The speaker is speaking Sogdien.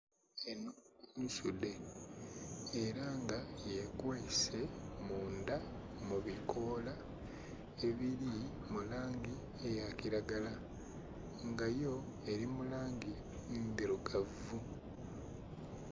Enho nsudhe era nga yekwese mundha mubikola ebili mulangi eya kilagala nga yo eli mulangi ndhilugavu.